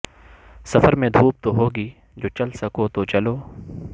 سفر میں دھوپ تو ہوگی جو چل سکو تو چلو